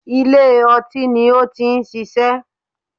Ilé ọtín ni ó ti ń ṣiṣẹ́